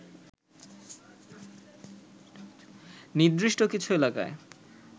নির্দিষ্ট কিছু এলাকায়